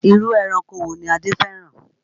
Irú ẹranko wo ni Adé fẹ́ràn?